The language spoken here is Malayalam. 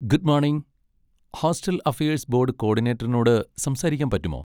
Good morning, hostel affairs board കോഡിനേറ്ററിനോട് സംസാരിക്കാൻ പറ്റുമോ?